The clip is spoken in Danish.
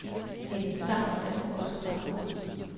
Hendes sang er nu også ret god.